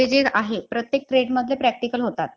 जे आहे प्रत्येक trade मधले practical होतात